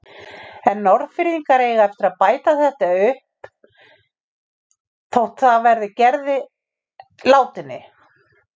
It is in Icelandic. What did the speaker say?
En Norðfirðingar eiga eftir að bæta þetta upp þótt það verði að Gerði látinni.